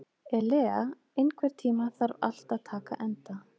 Elea, einhvern tímann þarf allt að taka enda.